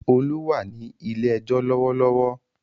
Olú wà ní ilé-ẹjọ́ lọ́wọ́lọ́wọ́.